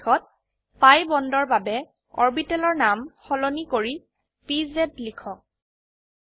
অবশেষত পি বন্ডৰ বাবে অৰবিটেলৰ নাম সলনি কৰি পিজে লিখক